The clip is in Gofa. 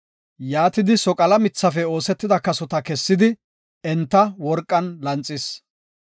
Yaatidi soqala mithafe oosetida kasota kessidi enta worqan lanxis.